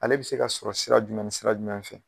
Ale bɛ se ka sɔrɔ sira jumɛn ni sira jumɛn fɛ?